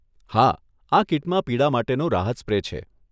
હા, આ કીટમાં પીડા માટેનો રાહત સ્પ્રે છે.